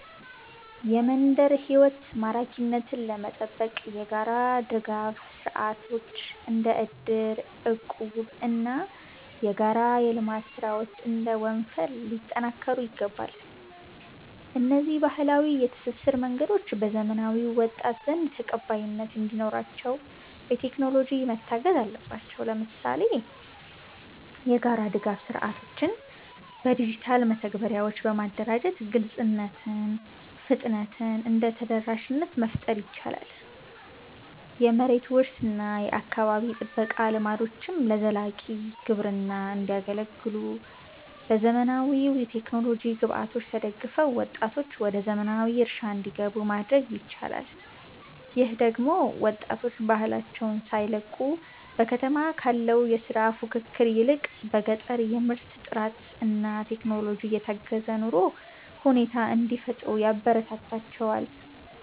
የመንደር ሕይወት ማራኪነትን ለመጠበቅ የጋራ ድጋፍ ሥርዓቶች (እንደ እድርና እቁብ) እና የጋራ የልማት ሥራዎች (እንደ ወንፈል) ሊጠናከሩ ይገባል። እነዚህ ባህላዊ የትስስር መንገዶች በዘመናዊው ወጣት ዘንድ ተቀባይነት እንዲኖራቸው፣ በቴክኖሎጂ መታገዝ አለባቸው። ለምሳሌ፣ የጋራ ድጋፍ ሥርዓቶችን በዲጂታል መተግበሪያዎች በማደራጀት ግልጽነትን፣ ፍጥነትን እና ተደራሽነትን መፍጠር ይቻላል። የመሬት ውርስ እና የአካባቢ ጥበቃ ልምዶችም ለዘላቂ ግብርና እንዲያገለግሉ፣ በዘመናዊ የቴክኖሎጂ ግብዓቶች ተደግፈው ወጣቶች ወደ ዘመናዊ እርሻ እንዲገቡ ማድረግ ይቻላል። ይህ ደግሞ ወጣቶች ባህላቸውን ሳይለቁ፣ በከተማ ካለው የሥራ ፉክክር ይልቅ በገጠር የምርት ጥራትና በቴክኖሎጂ የታገዘ የኑሮ ሁኔታ እንዲፈጥሩ ያበረታታቸዋል